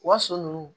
U ka so nunnu